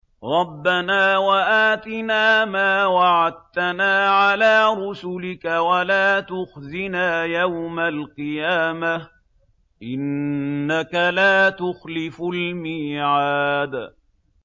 رَبَّنَا وَآتِنَا مَا وَعَدتَّنَا عَلَىٰ رُسُلِكَ وَلَا تُخْزِنَا يَوْمَ الْقِيَامَةِ ۗ إِنَّكَ لَا تُخْلِفُ الْمِيعَادَ